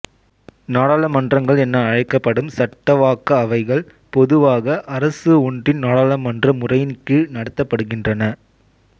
நாடாளுமன்றங்கள் என அழைக்கப்படும் சட்டவாக்க அவைகள் பொதுவாக அரசு ஒன்றின் நாடாளுமன்ற முறையின் கீழ் நடத்தப்படுகின்றன